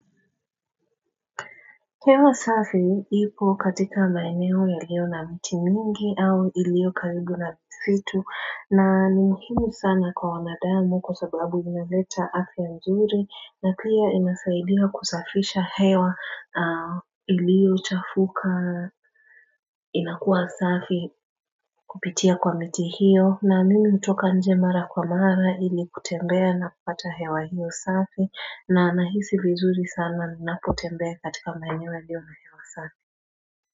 Hewa safi ipo katika maeneo iliyo na mti mingi au ilio karibu na misitu na ni muhimu sana kwa wanadamu kwa sababu inaleta afya nzuri na pia inasaidia kusafisha hewa iliochafuka inakuwa safi kupitia kwa miti hiyo na mimi utoka nje mara kwa mara ili kutembea na kupata hewa hiyo safi na nahisi vizuri sana ninapotembea katika maeneo yalio na hewa safi.